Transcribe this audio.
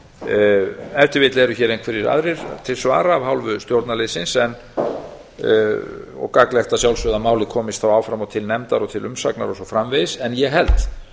ef til vill eru hér einhverjir aðrir til svara af hálfu stjórnarliðsins og gagnlegt að sjálfsögðu að málið komist áfram og til nefndar og til umsagnar og svo framvegis en ég held